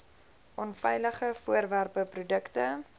onveilige voorwerpe produkte